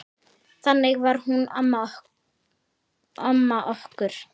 Þannig var hún amma okkur.